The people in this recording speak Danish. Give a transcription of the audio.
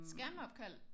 Skærmopkald